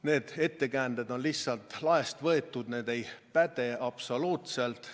Need ettekäänded on lihtsalt laest võetud, need ei päde absoluutselt.